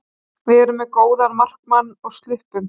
Við erum með góðan markmann og sluppum.